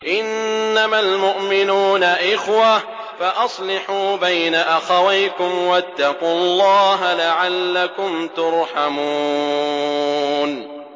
إِنَّمَا الْمُؤْمِنُونَ إِخْوَةٌ فَأَصْلِحُوا بَيْنَ أَخَوَيْكُمْ ۚ وَاتَّقُوا اللَّهَ لَعَلَّكُمْ تُرْحَمُونَ